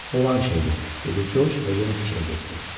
Olan şeydi, dedi Corc və yenə fikrə getdi.